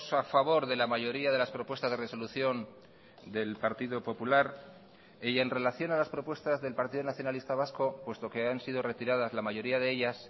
a favor de la mayoría de las propuestas de resolución del partido popular y en relación a las propuestas del partido nacionalista vasco puesto que han sido retiradas la mayoría de ellas